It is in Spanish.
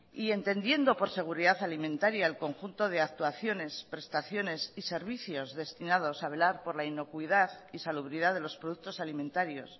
y entendiendo por seguridad alimentaria el conjunto de actuaciones prestaciones y servicios destinados a velar por la inocuidad y salubridad de los productos alimentarios